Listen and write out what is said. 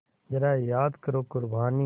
ज़रा याद करो क़ुरबानी